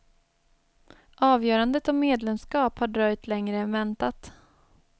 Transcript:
Avgörandet om medlemskap har dröjt längre än väntat.